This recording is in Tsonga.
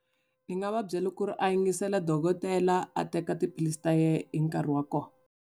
Ni nga va byela ku ri a yingisela dokotela a teka tiphilisi ta yena hi nkarhi wa kona.